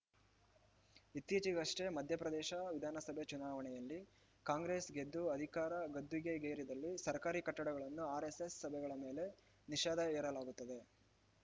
ಇತ್ತೀಚೆಗಷ್ಟೇ ಮಧ್ಯಪ್ರದೇಶ ವಿಧಾನಸಭೆ ಚುನಾವಣೆಯಲ್ಲಿ ಕಾಂಗ್ರೆಸ್‌ ಗೆದ್ದು ಅಧಿಕಾರದ ಗದ್ದುಗೆಗೇರಿದಲ್ಲಿ ಸರ್ಕಾರಿ ಕಟ್ಟಡಗಳಲ್ಲಿ ಆರ್‌ಎಸ್‌ಎಸ್‌ ಸಭೆಗಳ ಮೇಲೆ ನಿಷೇಧ ಹೇರಲಾಗುತ್ತದೆ